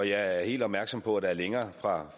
jeg er helt opmærksom på at der er længere fra